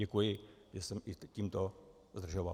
Děkuji, že jsem i tímto zdržoval.